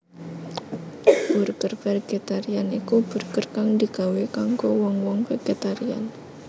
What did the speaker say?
Burger vegetarian iku burger kang digawé kanggo wong wong vegetarian